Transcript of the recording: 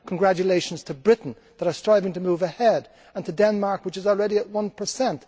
Congratulations to Britain for striving to move ahead, and to Denmark which is already at one percent.